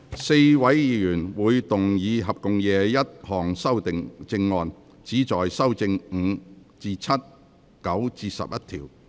4位議員會動議合共21項修正案，旨在修正第5至7及9至11條。